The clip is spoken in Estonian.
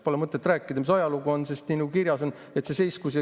Pole mõtet rääkida, mis ajalugu on, sest nii nagu kirjas on, see seiskus.